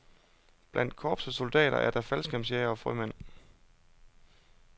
Blandt korpsets soldater er der faldskærmsjægere og frømænd.